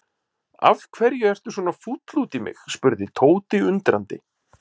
Af hverju ertu svona fúll út í mig? spurði Tóti undrandi.